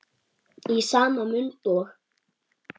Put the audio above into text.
Í sama mund og